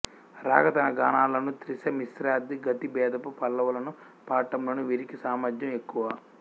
రాగ తాన గానాలలోను త్రిశ మిశ్రాది గతిభేదపు పల్లవులను పాడటంలోను వీరికి సామర్థ్యం ఎక్కువ